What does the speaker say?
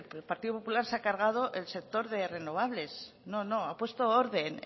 el partido popular se ha cargado el sector de renovables no no ha puesto orden